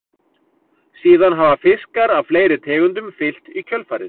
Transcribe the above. Síðan hafa fiskar af fleiri tegundum fylgt í kjölfarið.